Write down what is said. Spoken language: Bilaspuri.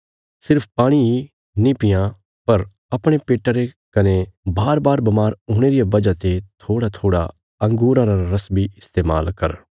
सिर्फ पाणी ही नां पीआं पर अपणे पेट्टा रे कने बारबार बमार हुणे रिया वजह ते थोड़ाथोड़ा अंगूरां रा रस बी इस्तेमाल कर